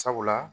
Sabula